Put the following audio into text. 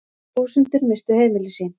Þúsundir misstu heimili sín.